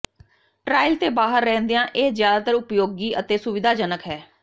trial ਤੇ ਬਾਹਰ ਰਹਿੰਦਿਆਂ ਇਹ ਜ਼ਿਆਦਾ ਉਪਯੋਗੀ ਅਤੇ ਸੁਵਿਧਾਜਨਕ ਹੈ